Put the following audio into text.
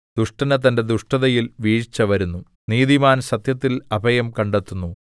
ദുഷ്ടന് തന്റെ ദുഷ്ടതയാൽ വീഴ്ച വരുന്നു നീതിമാന്‍ സത്യത്തില്‍ അഭയം കണ്ടെത്തുന്നു